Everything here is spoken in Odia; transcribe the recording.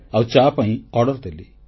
ଆଉ ଚା ପାଇଁ ଅର୍ଡର ଦେଲି